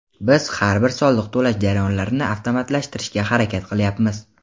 Biz har bir soliq to‘lash jarayonlarini avtomatlashtirishga harakat qilyapmiz.